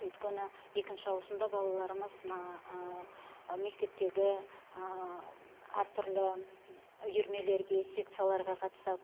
өйткені екінші ауысымда балаларымыз мына мектептегі әртүрлі үйірмелерге секцияларға қатысады